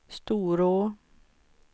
Storå